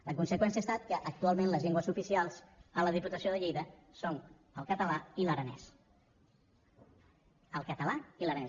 la conseqüència ha estat que actualment les llengües oficials a la diputació de lleida són el català i l’aranès el català i l’aranès